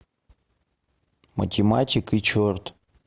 математик и черт